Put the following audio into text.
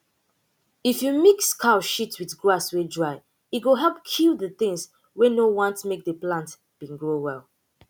if you mix cow shit with grass wey dry e go help kill the things wey no want make the plant bin grow well